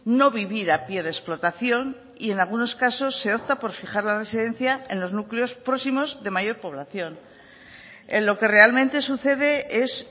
no vivir a pie de explotación y en algunos casos se opta por fijar la residencia en los núcleos próximos de mayor población en lo que realmente sucede es